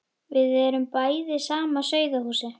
Við erum bæði af sama sauðahúsi.